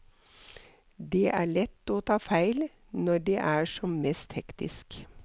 Det er lett å ta feil når det er som mest hektisk.